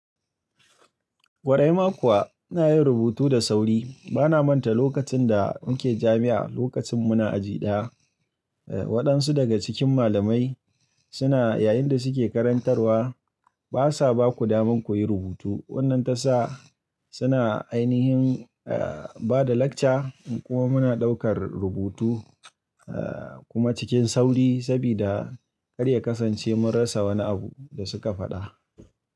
Ƙwarai ma kuwa ina yin rubutu da sauri. Bana manta lokacin da muke jami'a, lokacin muna aji ɗaya, eh wadansu daga cikin malamai suna yayin da suke karantarwa basa ba ku daman kuyi rubutu. Wanna tasa suna ainihin eh bada lecture kuma muna ɗaukar rubutu eh kuma cikin sauri sabida kar ya kasance mun rasa wani abu da suka faɗa.